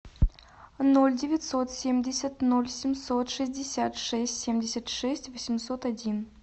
ноль девятьсот семьдесят ноль семьсот шестьдесят шесть семьдесят шесть восемьсот один